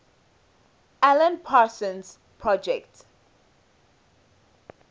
alan parsons project